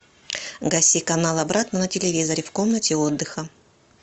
гаси канал обратно на телевизоре в комнате отдыха